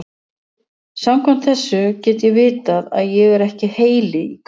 Samkvæmt þessu get ég vitað að ég er ekki heili í krukku.